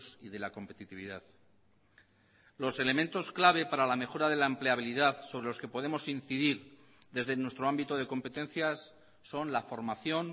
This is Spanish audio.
y de la competitividad los elementos clave para la mejora de la empleabilidad sobre los que podemos incidir desde nuestro ámbito de competencias son la formación